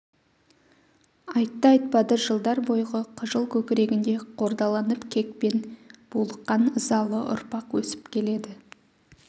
айтты-айтпады жылдар бойғы қыжыл көкірегінде қордаланып кекпен булыққан ызалы ұрпақ өсіп келеді